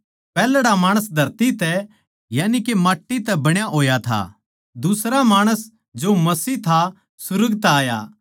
पैहल्ड़ा माणस धरती तै यानिके माट्टी तै बण्या होया था दुसरा माणस जो मसीह था सुर्ग तै आया